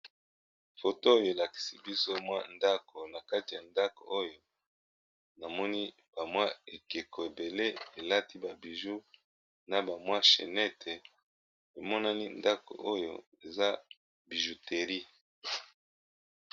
Foto oyo elakisi biso mwa ndako na kati ya ndako oyo namoni ba mwa ekeko ebele elati ba biju na ba mwa chenete emonani ndako oyo eza bijuteri.